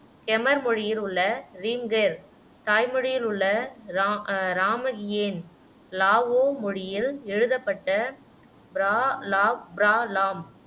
Khmer மொழியில் உள்ள Reamker, Thai மொழியில் உள்ள ரா அஹ் ராமகியென், லாவோ மொழியில் எழுதப்பட்ட ப்ரா லாக் ப்ரா லாம்